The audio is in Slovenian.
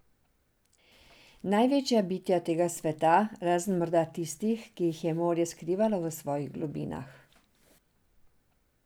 Največja bitja tega sveta, razen morda tistih, ki jih je morje skrivalo v svojih globinah.